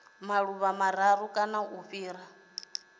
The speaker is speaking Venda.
maḓuvha mararu kana u fhira